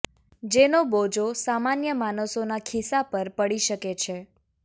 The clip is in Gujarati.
જેનો બોજો સામાન્ય માણસોના ખિસ્સા પર પડી શકે છે